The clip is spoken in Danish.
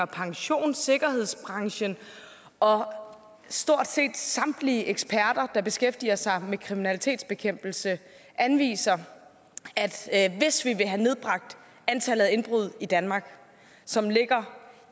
pension sikkerhedsbranchen og stort set samtlige eksperter der beskæftiger sig med kriminalitetsbekæmpelse anviser at hvis vi vil have nedbragt antallet af indbrud i danmark som ligger